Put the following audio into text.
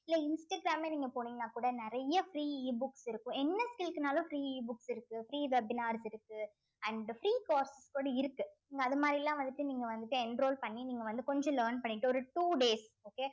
இல்லை இன்ஸ்டாகிராம்ல நீங்க போனீங்கன்னா கூட நிறைய free Ebooks இருக்கும் என்ன skill க்குன்னாலும் free Ebooks இருக்கு free webinars இருக்கு and free course கூட இருக்கு நீங்க அது மாதிரி எல்லாம் வந்துட்டு நீங்க வந்துட்டு enroll பண்ணி நீங்க வந்து கொஞ்சம் learn பண்ணிக்கிட்டு ஒரு two days okay